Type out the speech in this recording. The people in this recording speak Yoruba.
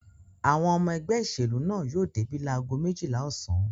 Àwọn ọmọ ẹgbẹ́ ìṣèlú náà yóò débí lágo méjìlá ọ̀sán.